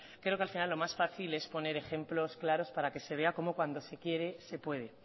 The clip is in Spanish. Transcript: creo que al final lo más fácil es poner ejemplos claros para que se vea como cuando se quiere se puede